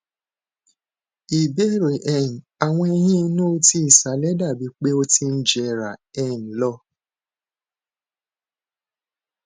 ìbéèrè um awọn eyín inú ti ìsàlẹ dabi pe o ti ń jera um lo